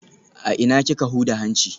A ina kika huda hanci?